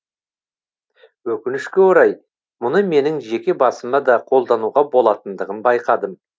өкінішке орай мұны менің жеке басыма да қолдануға болатындығын байқадым